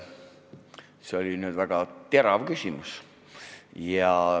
See oli väga terav küsimus.